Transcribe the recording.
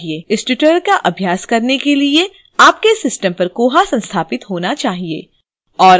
इस tutorial का अभ्यास करने के लिए आपके system पर koha संस्थापित होना चाहिए